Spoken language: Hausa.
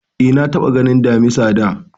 Eh, na taɓa ganin Damisa da